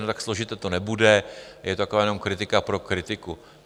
No, tak složité to nebude, je to jen taková kritika pro kritiku.